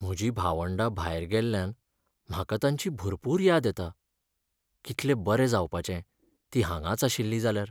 म्हजीं भावंडा भायर गेल्ल्यान म्हाका तांची भरपूर याद येता. कितले बरें जावपाचें तीं हांगांच आशिल्लीं जाल्यार.